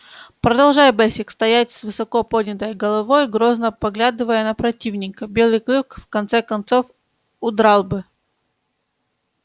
продолжай бэсик стоять с высоко поднятой головой грозно поглядывая на противника белый клык в конце концов удрал бы